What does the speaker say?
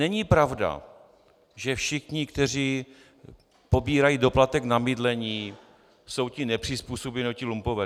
Není pravda, že všichni, kteří pobírají doplatek na bydlení, jsou ti nepřizpůsobiví nebo ti lumpové.